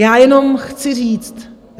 Já jenom chci říct...